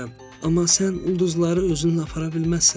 Amma sən ulduzları özünlə apara bilməzsən.